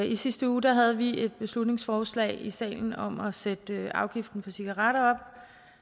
i sidste uge havde vi et beslutningsforslag i salen om at sætte afgiften på cigaretter